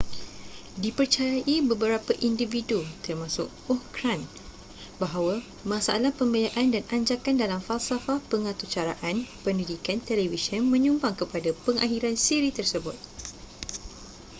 dipercayai beberapa individu termasuk ohn grant bahawa masalah pembiayaan dan anjakan dalam falsafah pengaturcaraan pendidikan televisyen menyumbang kepada pengakhiran siri tersebut